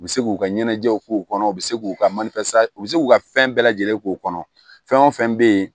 U bɛ se k'u ka ɲɛnajɛw k'u kɔnɔ u bɛ se k'u ka u bɛ se k'u ka fɛn bɛɛ lajɛlen k'o kɔnɔ fɛn o fɛn bɛ yen